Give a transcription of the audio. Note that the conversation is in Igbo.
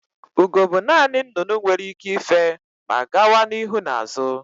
Ugo bụ naanị nnụnụ nwere ike ife ma gawa n'ihu na azụ